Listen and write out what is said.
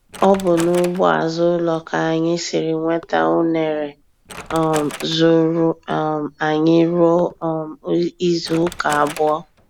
Ọ bụ n'ugbo azụ ụlọ ka anyị siri nweta únere um zuuru um anyị ruo um izu ụka abụọ.